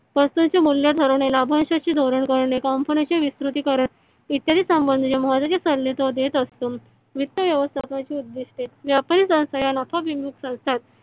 वस्तु चे मूल्य ठरविणे. लाभांशचे धोरण ठरविणे कंपण्याचे विकृती करणे. इत्यादि संबंधीचे महत्वाचे सल्ले तो देते असतो वित्त व्यवस्थापकाचे उदिस्ते व्यापारी संस्था या नफा विमुक्त संस्था आहेत.